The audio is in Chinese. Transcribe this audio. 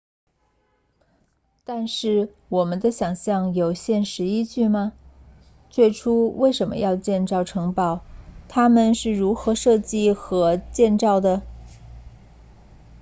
但是我们的想象有现实依据吗最初为什么要建城堡它们是如何设计和建造的